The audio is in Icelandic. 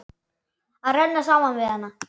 Að renna saman við hana.